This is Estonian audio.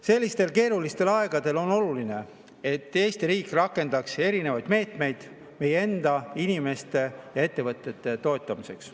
Sellistel keerulistel aegadel on oluline, et Eesti riik rakendaks erinevaid meetmeid meie enda inimeste ja ettevõtete toetamiseks.